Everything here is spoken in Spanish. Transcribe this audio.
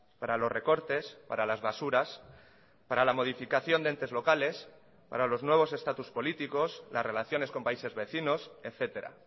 para los recortes para las basuras para la modificación de entes locales para los nuevos estatus políticos las relaciones con países vecinos etcétera